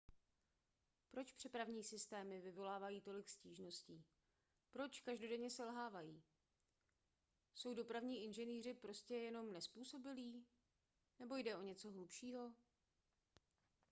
proč přepravní systémy vyvolávají tolik stížností proč každodenně selhávají jsou dopravní inženýři prostě jenom nezpůsobilí nebo jde o něco hlubšího